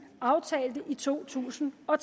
aftalte i to tusind og